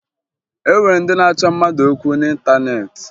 E nwere ndị na-achọ mmadụ okwu n'ịntaneetị